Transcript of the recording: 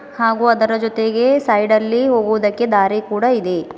ಹಾಗೂ ಅದರ ಜೊತೆಗೆ ಸೈಡ ಲ್ಲಿ ಹೋಗೋದಕ್ಕೆ ದಾರಿ ಕೂಡ ಇದೆ.